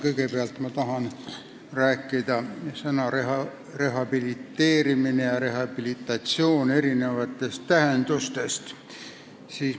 Kõigepealt tahan rääkida sõnade "rehabiliteerimine" ja "rehabilitatsioon" erinevatest tähendustest.